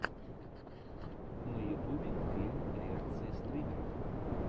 на ютубе фильм реакция стримеров